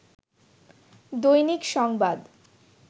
দৈনিক সংবাদ